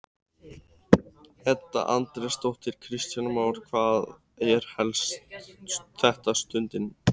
Edda Andrésdóttir: Kristján Már, hvað er helst þessa stundina?